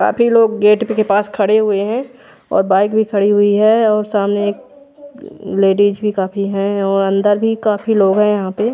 काफी लोग गेट के पास खरे हुए है और बाइक भी खड़ी हुई है और सामने एक लेडिस भी काफी है और अंदर भी काफी लोग है यहाँ पे।